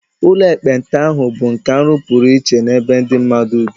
Ụlọ ekpenta ahụ bụ nke a rụpụrụ iche n'ebe ndị mmadụ bi